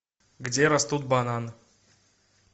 где растут бананы